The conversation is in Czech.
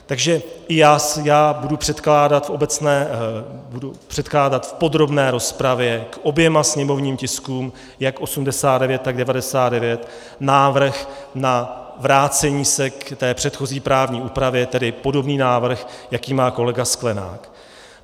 Takže i já budu předkládat v podrobné rozpravě k oběma sněmovním tiskům, jak 89, tak 99, návrh na vrácení se k té předchozí právní úpravě, tedy podobný návrh, jaký má kolegy Sklenák.